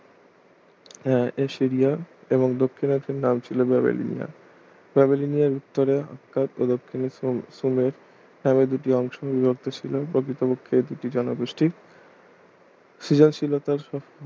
হ্যাঁ এসিরিয়া এবং দক্ষিণ অংশের নাম ছিল ব্যাবিলিয়ান ব্যাবিলিয়ানের উত্তরে অর্থাৎ প্রদক্ষিনে শ্রমে এভাবে দুটি অংশ বিভক্ত ছিল প্রকৃতপক্ষে এ দুটি জনগোষ্ঠী সৃজনশীলতার